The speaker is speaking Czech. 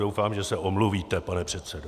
Doufám, že se omluvíte, pane předsedo!